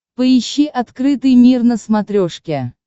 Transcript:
поищи открытый мир на смотрешке